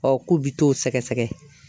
k'u bi t'o sɛgɛsɛgɛ.